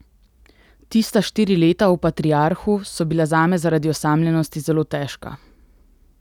Tista štiri leta v Patriarhu so bila zame zaradi osamljenosti zelo težka.